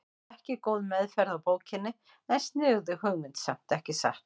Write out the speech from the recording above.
Ekki góð meðferð á bókinni en sniðug hugmynd samt, ekki satt?